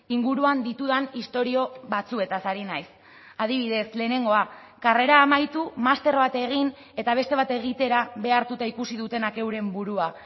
inguruan ditudan istorio batzuetaz ari naiz adibidez lehenengoa karrera amaitu master bat egin eta beste bat egitera behartuta ikusi dutenak euren burua